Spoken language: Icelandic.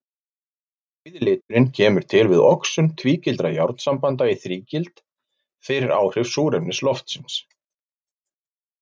Rauði liturinn kemur til við oxun tvígildra járnsambanda í þrígild fyrir áhrif súrefnis loftsins.